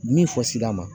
Min fɔsida ma